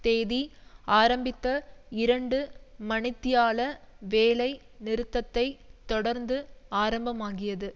தேதி ஆரம்பித்த இரண்டு மணித்தியால வேலை நிறுத்தத்தைத் தொடர்ந்து ஆரம்பமாகியது